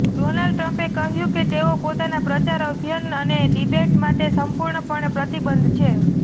Donald ટ્રમ્પે કહ્યું કે તેઓ પોતાના પ્રચાર અભિયાન અને ડિબેટ માટે સંપૂર્ણપણે પ્રતિબદ્ધ છે